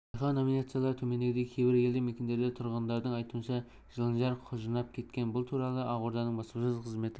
байқау номинациялары төмендегідей кейбір елді мекендерде тұрғындардың айутынша жыландар құжынап кеткен бұл туралы ақорданың баспасөз қызметі